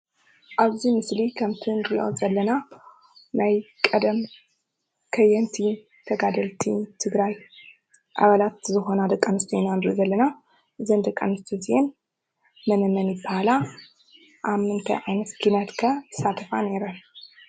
ኣብዚ ምስሊ ክምቲ እንሪኦ ዘለና ናይ ቀደም ከየንቲ ተጋደልቲ ትግራይ ኣባላት ዝኾና ደቂ ኣንስትዮ ኢና ንሪኢ ዘለና። እዘን ደቂ ኣንስትዮ እዚኣን መነመን ይበሃላ? ኣብ ምንታይ ዓይነት ኪነት ከ ይሳተፋ ነይረን?